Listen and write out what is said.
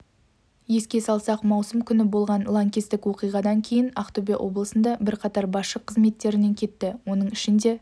еске салсақ маусым күні болған лаңкестік оқиғадан кейін ақтөбе облысында бірқатар басшы қызметтерінен кетті оның ішінде